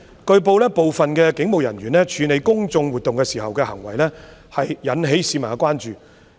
據報，部分警務人員處理公眾活動時的行為引起市民關注。